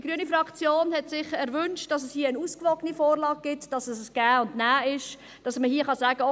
Die grüne Fraktion hat sich gewünscht, dass es hier eine ausgewogene Vorlage gibt, dass es ein Geben und Nehmen ist, dass man hier sagen kann: